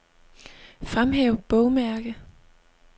Fremhæv bogmærke.